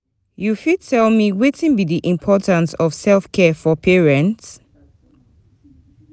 you fit tell me wetin be di importance of self-care for parents?